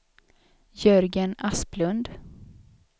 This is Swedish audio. Jörgen Asplund